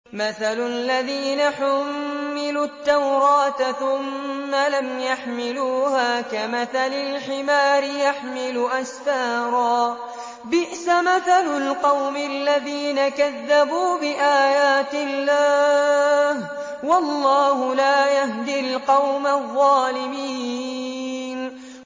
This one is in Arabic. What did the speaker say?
مَثَلُ الَّذِينَ حُمِّلُوا التَّوْرَاةَ ثُمَّ لَمْ يَحْمِلُوهَا كَمَثَلِ الْحِمَارِ يَحْمِلُ أَسْفَارًا ۚ بِئْسَ مَثَلُ الْقَوْمِ الَّذِينَ كَذَّبُوا بِآيَاتِ اللَّهِ ۚ وَاللَّهُ لَا يَهْدِي الْقَوْمَ الظَّالِمِينَ